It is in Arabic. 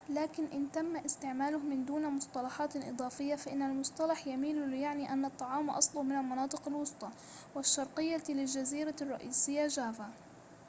لكن إن تم استعماله من دون مصطلحات إضافية فإن المصطلح يميل ليعني أن الطعام أصله من المناطق الوسطى والشرقية للجزيرة الرئيسية جافا